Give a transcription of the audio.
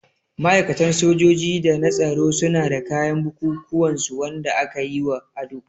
Ma'aikatan sojoji da na tsaro suna da kayan bukukuwan su Wanda aka yi wa ado.